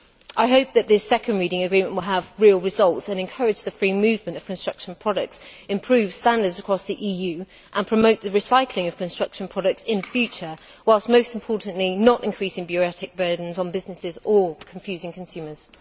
I hope that this second reading agreement will have real results and will encourage the free movement of construction products, improve standards across the EU, and promote the recycling of construction products in future whilst, most importantly, not increasing bureaucratic burdens on businesses or confusing consumers.